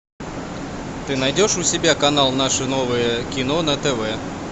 ты найдешь у себя канал наше новое кино на тв